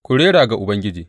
Ku rera ga Ubangiji!